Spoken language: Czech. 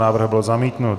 Návrh byl zamítnut.